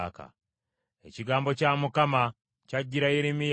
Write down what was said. Ekigambo kya Mukama kyajjira Yeremiya nti,